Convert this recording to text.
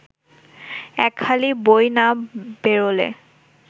একহালি বই না বেরোলে